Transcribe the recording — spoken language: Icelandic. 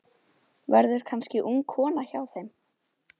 Verður kannski ung kona hjá þeim.